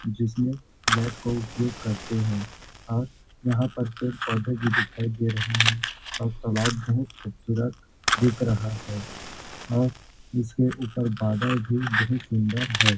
जिसमें नेट का उपयोग करते है और यहाँ पर पेड़-पौधे भी दिखाई दे रहे है और तालाब बहुत खूबसूरत दिख रहा है और इसके ऊपर बादल भी बहुत सुंदर है।